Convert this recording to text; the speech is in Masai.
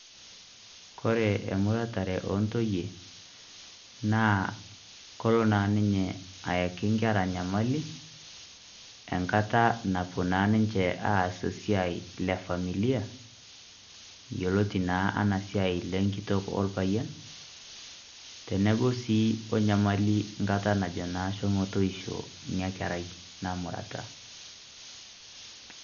Kore emuratare ontoyie, naa kolo na ninye ayaki nkera nyamali, enkata napuo na ninche aas esiai le familia, yioloti na anaa siai le nkitok orpayian. Teneku si nyamali na nkata najo shomo toisho ina kerai namurata.